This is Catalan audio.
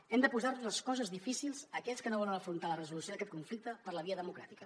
hem de posar los les coses difícils a aquells que no volen afrontar la resolució d’aquest conflicte per la via democràtica